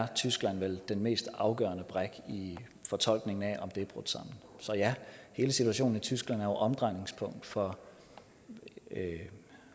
er tyskland vel den mest afgørende brik i fortolkningen af om det er brudt sammen så ja hele situationen i tyskland er jo omdrejningspunkt for